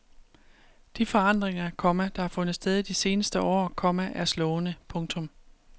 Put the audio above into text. De forandringer, komma der har fundet sted i de seneste år, komma er slående. punktum